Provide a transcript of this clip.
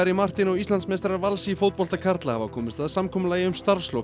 Martin og Íslandsmeistarar Vals í fótbolta karla hafa komist að samkomulagi um starfslok